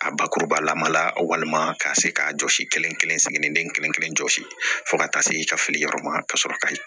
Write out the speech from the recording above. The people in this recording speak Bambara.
A bakuruba lama la walima ka se k'a jɔsi kelen kelen kelen jɔsi fo ka taa se i ka fili yɔrɔ ma ka sɔrɔ kayi